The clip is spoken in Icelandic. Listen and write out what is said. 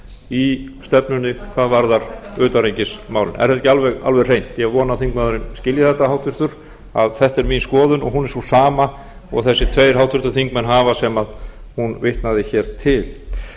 í stefnunni hvað varðar utanríkismálin er þetta ekki alveg hreint ég vona að þingmaðurinn skilji þetta háttvirta að þetta er mín skoðun og hún er sú sama og þessir tveir háttvirtir þingmenn hafa sem hún vitnaði hér til